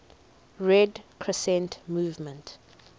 red crescent movement